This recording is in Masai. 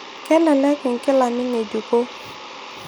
kelelek inkilani ngejuko.